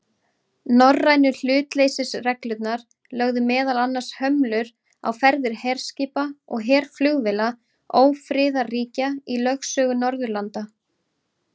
Norrænu hlutleysisreglurnar lögðu meðal annars hömlur á ferðir herskipa og herflugvéla ófriðarríkja í lögsögu Norðurlanda.